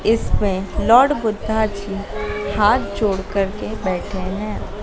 इसमें लॉर्ड बुद्धा जी हाथ जोड़ करके बैठे हैं।